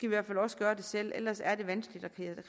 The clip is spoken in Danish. i hvert fald også gøre det selv ellers er det vanskeligt at